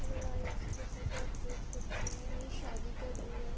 Hello guys जैसा कि आप देख सकते हैं। ये शादी का व्यू है।